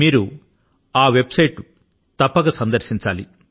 మీరు ఆ website ను తప్పక సందర్శించాలి